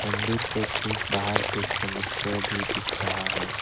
मंदिर के ठीक बाहर एक मनुष्य भी दिख रहा है।